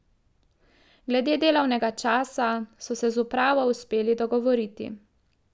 Glede delovnega časa so se z upravo uspeli dogovoriti.